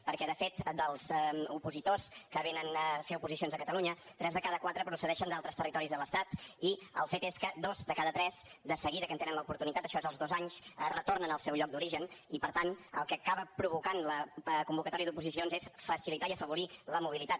perquè de fet dels opositors que vénen a fer oposicions a catalunya tres de cada quatre procedeixen d’altres territoris de l’estat i el fet és que dos de cada tres de seguida que en tenen l’oportunitat això és als dos anys retornen al seu lloc d’origen i per tant el que acaba provocant la convocatòria d’oposicions és facilitar i afavorir la mobilitat